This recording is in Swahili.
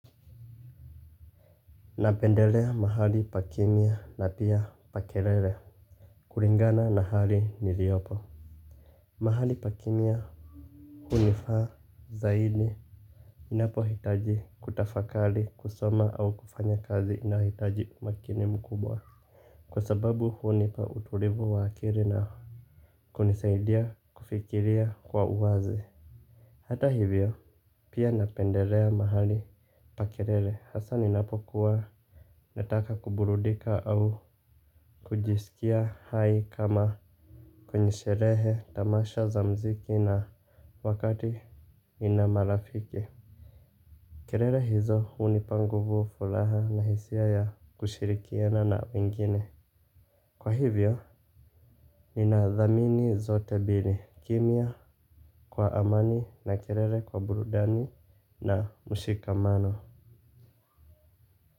Napendelea mahali pa kimya na pia pa kelele kuringana na hali niliopo. Mahali pakimya hunifaa zaidi. Inapo hitaji kutafakali kusoma au kufanya kazi inahitaji umakini mkubwa. Kwa sababu hunipa uturivu wakili na kunisaidia kufikiria kwa uwazi. Hata hivyo pia napendelea mahali pa kelele hasa ninapokuwa nataka kuburudika au kujisikia hai kama kwenye sherehe tamasha za mziki na wakati nina marafiki. Kerere hizo hunipa nguvu fulaha na hisia ya kushirikiana na wengine. Kwa hivyo ninadhamini zote bili kimya kwa amani na kerele kwa burudani na mshikamano.